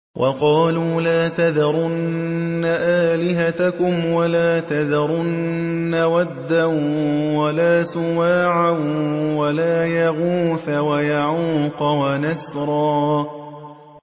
وَقَالُوا لَا تَذَرُنَّ آلِهَتَكُمْ وَلَا تَذَرُنَّ وَدًّا وَلَا سُوَاعًا وَلَا يَغُوثَ وَيَعُوقَ وَنَسْرًا